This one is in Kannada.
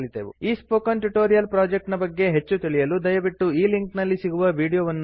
ಈ ಸ್ಪೋಕನ್ ಟ್ಯುಟೋರಿಯಲ್ ಪ್ರೊಜೆಕ್ಟ್ ನ ಬಗ್ಗೆ ಹೆಚ್ಚು ತಿಳಿಯಲು ದಯವಿಟ್ಟು ಈ ಲಿಂಕ್ ನಲ್ಲಿ ಸಿಗುವ ವೀಡಿಯೋ ವನ್ನು ನೋಡಿ